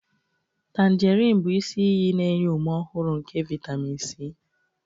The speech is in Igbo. Tanjerin bụ isi iyi na-enye ume ọhụrụ nke vitamin C.